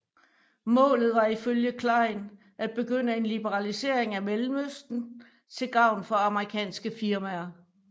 Målet var ifølge Klein at begynde en liberalisering af Mellemøsten til gavn for amerikanske firmaer